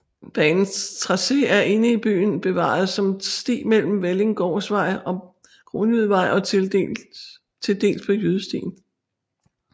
Banens tracé er inde i byen bevaret som sti mellem Vellinggårdsvej og Kronjydevej og tildels på Jydestien